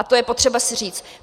A to je potřeba si říct.